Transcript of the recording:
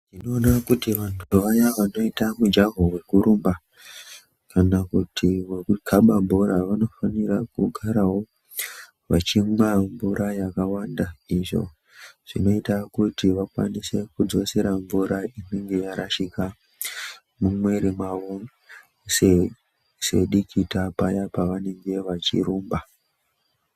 Ndinoona kuti vantu vaya vanoita mujaho vekurumba kana kuti vekukaba bhora. Vanofanira kugaravo vachimwa mvura yakawanda izvo zvinoita kuti vakwanise kudzosera mvura inenge yarashika mumwiri mwavo sedikita paya pavanenge vachirumba.